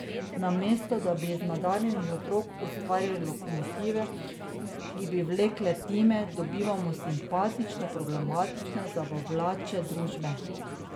Namesto da bi iz nadarjenih otrok ustvarjali lokomotive, ki bi vlekle time, dobivamo simpatično problematične zabavljače družbe.